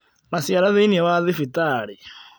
Maciara thĩinĩ wa thibitarĩ